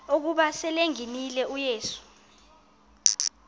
ukuba selengenile uyesu